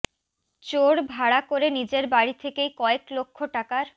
চোর ভাড়া করে নিজের বাড়ি থেকেই কয়েক লক্ষ টাকার